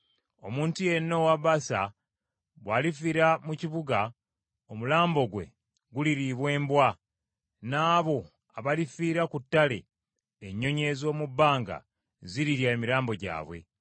Omuntu yenna owa Baasa bw’alifiira mu kibuga, omulambo gwe guliriibwa embwa, n’abo abalifiira ku ttale, ennyonyi ez’omu bbanga zirirya emirambo gyabwe.”